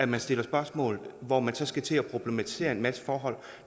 man stiller spørgsmål hvor man så skal til at problematisere en masse forhold